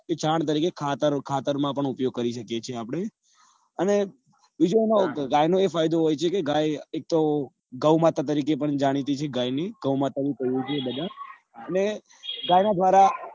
છાણ તરીકે ખાતર ખાતર માં પણ ઉપયોગ કરી શકીએ છીએ આપડે અને બીજું એ ગાય નો એ ફાયદો હોય છે કે ગે એક તો તો ગૌમાતા તરીકે પણ જાણીતી છે ગાય ની ગૌમાતા અને ગાય ના દ્વારા